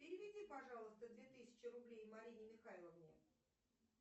переведи пожалуйста две тысячи рублей марине михайловне